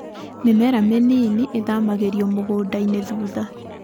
Mĩmera mĩnini ĩthamagĩrio mũgũndainĩ thutha.